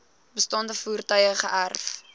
bestaande voertuie geërf